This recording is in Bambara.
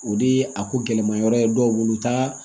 O de ye a ko gɛlɛmayɔrɔ ye dɔw bolo u t'a